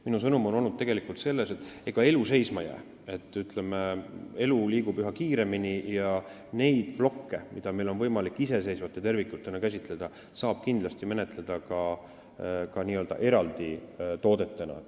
Minu sõnum on olnud tegelikult see, et ega elu seisma jää, elu liigub üha kiiremini ja neid plokke, mida on võimalik iseseivate tervikutena käsitleda, saab kindlasti menetleda ka n-ö eraldi toodetena.